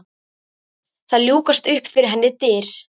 Það ljúkast upp fyrir henni dyr.